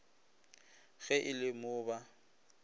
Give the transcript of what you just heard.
ge e le mo ba